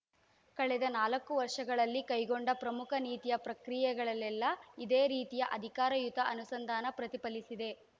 ಕಳೆದ ನಾಲ್ಕು ವರ್ಷಗಳಲ್ಲಿ ಕೈಗೊಂಡ ಪ್ರಮುಖ ನೀತಿಯ ಪ್ರಕ್ರಿಯೆಗಳಲ್ಲೆಲ್ಲ ಇದೇ ರೀತಿಯ ಅಧಿಕಾರಯುತ ಅನುಸಂಧಾನ ಪ್ರತಿಫಲಿಸಿದೆ